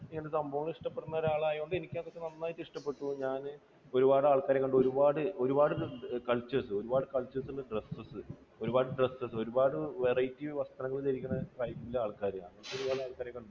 ഇങ്ങനത്തെ സംഭവങ്ങൾ ഇഷ്ടപ്പെടുന്ന ഒരാൾ ആയതുകൊണ്ട് എനിക്കത് നന്നായിട്ട് ഇഷ്ടപ്പെട്ടു. ഞാൻ ഒരുപാട് ആൾക്കാരെ കണ്ടു. ഒരുപാട്, ഒരുപാട് cultures ഒരുപാട് cultures ന്റെ dress, ഒരുപാട് dress, ഒരുപാട് variety വസ്ത്രങ്ങൾ ധരിക്കുന്ന tribe ന്റെ ആൾക്കാര്, അങ്ങനെയുള്ള ആൾക്കാരെ കണ്ടു.